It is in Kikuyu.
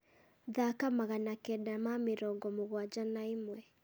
thaaka magana kenda ma mĩrongo mũgwanja na ĩmwe